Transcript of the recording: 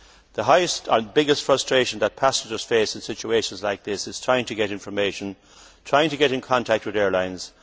The biggest frustration that passengers face in situations like this is trying to get information, trying to get in contact with the airlines.